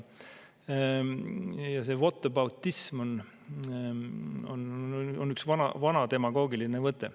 Ja see whataboutism on üks vana demagoogiline võte.